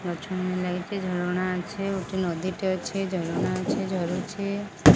ମାଛ ମାନେ ଲାଗିଛି ଝରଣା ଅଛି ଗୋଟେ ନଦୀ ଟେ ଅଛି ଝରଣା ଅଛି ଝରୁଛି।